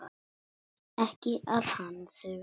Ekki að hann þurfi þess.